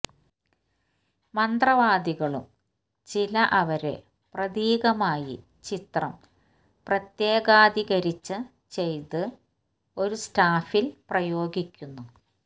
മന്ത്രവാദികളും ചില അവരെ പ്രതീകമായി ചിത്രം പ്രത്യേക ധിക്കരിച്ച ചെയ്തു ഒരു സ്റ്റാഫിൽ പ്രയോഗിക്കുന്നു